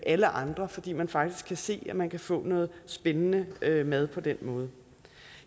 alle andre fordi man faktisk kan se at man kan få noget spændende mad på den måde